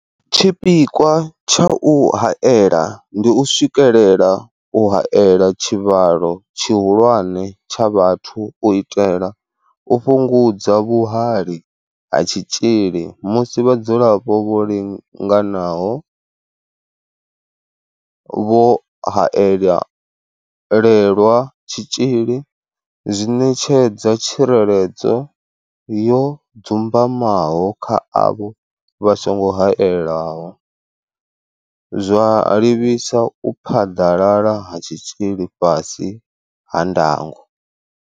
Tshipikwa tsha u haela ndi u swikelela u haela tshivhalo tshihulwane tsha vhathu u itela u fhungudza vhuhali ha tshitzhili musi vhadzulapo vho linganaho vho haelelwa tshitzhili zwi ṋetshedza tsireledzo yo dzumbamaho kha avho vha songo haelwaho, zwa livhisa u phaḓalala ha tshitzhili fhasi ha ndango.